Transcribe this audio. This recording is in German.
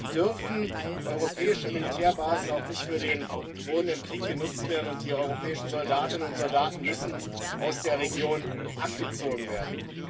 Deshalb dürfen europäische Militärbasen auch nicht für den drohenden Krieg genutzt werden, und die europäischen Soldatinnen und Soldaten müssen aus der Region abgezogen werden.